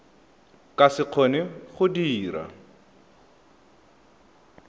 ka se kgone go dira